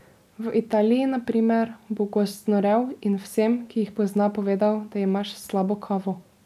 V Italiji, na primer, bo gost znorel in vsem, ki jih pozna, povedal, da imaš slabo kavo.